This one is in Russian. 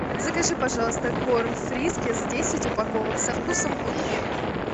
закажи пожалуйста корм фрискис десять упаковок со вкусом утки